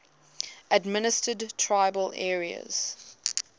administered tribal areas